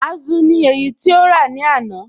Azu ni èyí tí ó rà ní àná.